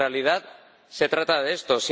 Porque en realidad se trata de esto.